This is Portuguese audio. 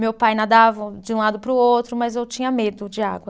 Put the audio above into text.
Meu pai nadava de um lado para o outro, mas eu tinha medo de água.